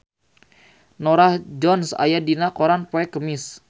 Norah Jones aya dina koran poe Kemis